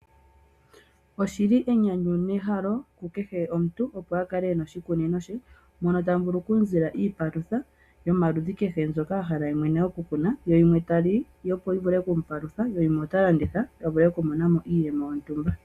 Oshili enyanyu nehalo lya kehe omuntu opo akale ena oshikunino she moka tamuvulu okumzila iipalutha yoludhi kehe mbyoka ahala yemwene okukuna ye yiimwe taa li opo yivule okumupalutha yo yiimwe otalanditha avule okumona mo iiyemo yontumba.